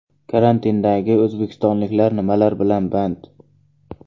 Karantindagi o‘zbekistonliklar nimalar bilan band?.